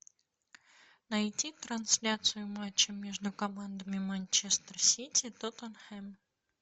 найти трансляцию матча между командами манчестер сити тоттенхэм